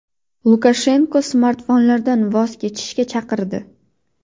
Lukashenko smartfonlardan voz kechishga chaqirdi.